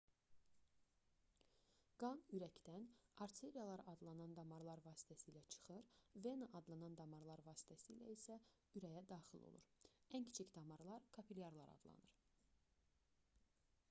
qan ürəkdən arteriyalar adlanan damarlar vasitəsilə çıxır vena adlanan damarlar vasitəsilə isə ürəyə daxil olur ən kiçik damarlar kapilyarlar adlanır